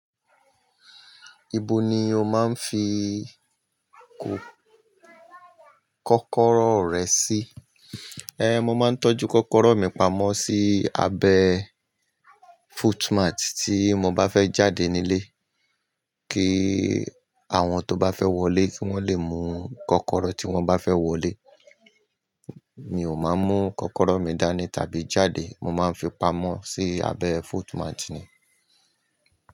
Ibo ni o máa ń fi kó kọ́kọ́rọ́ rẹ sí? Ehn, mo máa ń tọ́jú kọ́kọ́rọ́ mi pamọ́ sí abẹ́ footmat tí mo bá fẹ́ jáde nílé kí àwọn tó bá fẹ́ wọlé kí wọ́n lè mú kọ́kọ́rọ́ tí wọ́n bá fẹ́ wọlé. Mi ò máa ń mú kọ́kọ́rọ́ mi dání tàbí jáde. Mo máa ń fi pamọ́ sí abẹ́ footmat ni.